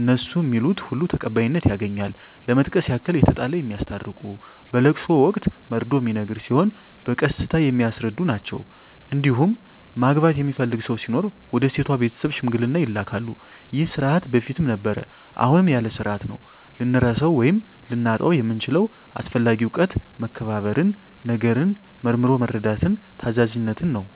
እነሡ ሚሉት ሁሉ ተቀባይነት ያገኛል ለመጥቀስ ያክል የተጣላ የሚያስታርቁ በለቅሶ ወቅት መርዶ ሚነገር ሲሆን በቀስታ የሚያስረዱ ናቸዉ እንዲሁም ማግባት የሚፈልግ ሰው ሲኖር ወደ ሴቷ ቤተሰብ ሽምግልና ይላካሉ ይህ ስርዓት በፊትም ነበረ አሁንም ያለ ስርአት ነው። ልንረሳው ወይም ልናጣው የምንችለው አስፈላጊ እውቀት መከባበርን፣ ነገርን መርምሮ መረዳትን፣ ታዛዝነትን ነው።